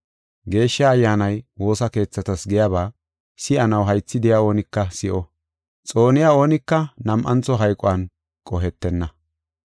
“Geeshsha Ayyaanay woosa keethatas giyaba si7anaw haythi de7iya oonika si7o. Xooniya oonika nam7antho hayquwan qohetenna.”